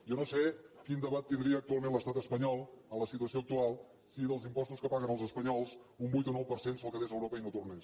jo no sé quin debat tin·dria actualment l’estat espanyol en la situació ac tual si dels impostos que paguen els espanyols un vuit o nou per cent se’l quedés europa i no tornés